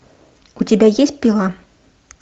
у тебя есть пила